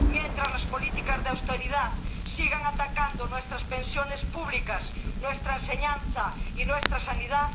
mientras las políticas de austeridad sigan atacando nuestras pensiones públicas, nuestra enseñanza y nuestra sanidad